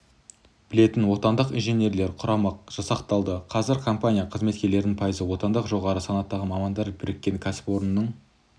білетін отандық инженерлер құрамы жасақталды қазір компания қызметкерлерінің пайызы отандық жоғары санаттағы мамандар біріккен кәсіпорынның